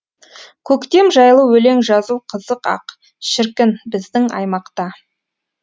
көктем жайлы өлең жазу қызық ақ шіркін біздің аймақта